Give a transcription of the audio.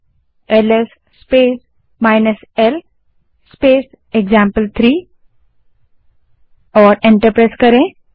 अब LS space l space example three type करें और एंटर दबायें